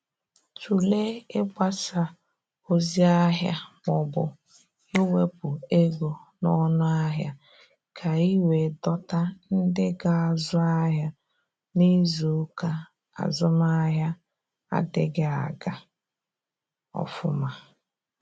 Tụlee ịgbasa ozi ahịa maọbụ iwepụ ego n'ọnụ ahịa, ka i wee dọta ndị ga-azụ ahịa n'izuuka azụmahịa adịghị aga ofuma.